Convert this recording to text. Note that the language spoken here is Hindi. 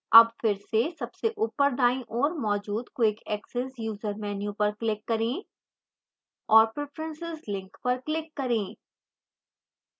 अब फिर से सबसे ऊपर दाईं ओर मौजूद quick access user menu पर click करें और preferences link पर click करें